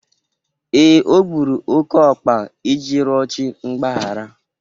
Ee, o gburu oke ọkpa iji rịọ chi mgbaghara.